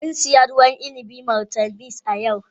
Mun sayi ruwan inabi martineliss a yau.